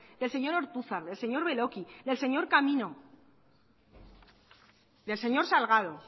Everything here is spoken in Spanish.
del señor ortuzar del señor beloki del señor camino del señor salgado